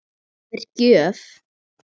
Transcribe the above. Það er gjöf.